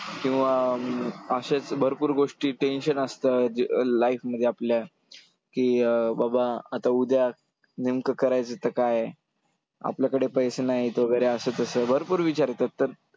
किंवा असेच भरपूर गोष्टी tension असतं जे life मध्ये आपल्या, की अं बाबा आता उद्या नेमकं करायचं तर काय, आपल्याकडे पैसे नाहीत वगैरे असं तसं भरपूर विचार येतात.